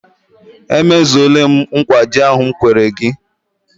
E mezuole m nkwa ji ahụ m kwere gị.